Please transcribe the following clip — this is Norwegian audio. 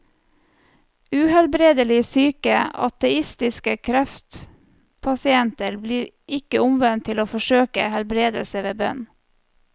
Uhelbredelig syke ateistiske kreftpasienter blir ikke omvendt til å forsøke helbredelse ved bønn.